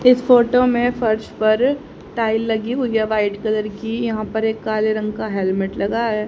इस फोटो में फर्श पर टाइल लगी हुई है वाइट कलर की यहां पर एक काले रंग का हेलमेट लगा है।